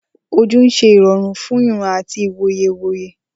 Ojú ń ṣe ìrọ̀rùn fún ìran àti ìwòye ìwòye.